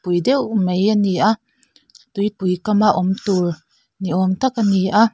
pui deuh mai a ni a tupui kam a awm tur ni awm tak a ni a.